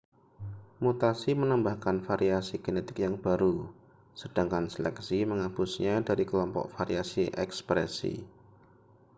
mutasi menambahkan variasi genetik yang baru sedangkan seleksi menghapusnya dari kelompok variasi ekspresi